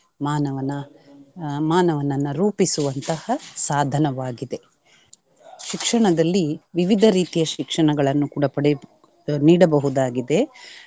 ಮಾನವನ ಆಹ್ ಮಾನವನನ್ನ ರೂಪಿಸುವಂತಹ ಸಾಧನವಾಗಿದೆ. ಶಿಕ್ಷಣದಲ್ಲಿ ವಿವಿಧ ರೀತಿಯ ಶಿಕ್ಷಣಗಳನ್ನು ಕೂಡಾ ಪಡೆಯ~ ನೀಡಬಹುದಾಗಿದೆ.